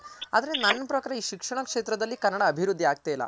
ಆದ್ರೆ ನನ್ ಪ್ರಕಾರ ಈ ಶಿಕ್ಷಣ ಕ್ಷೇತ್ರದಲ್ಲಿ ಕನ್ನಡ ಅಭಿವೃದ್ದಿ ಆಗ್ತಾ ಇಲ್ಲ.